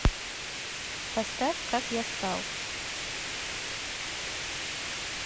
поставь как я стал